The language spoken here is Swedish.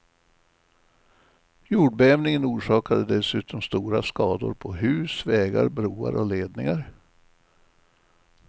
Jordbävningen orsakade dessutom stora skador på hus, vägar, broar och ledningar.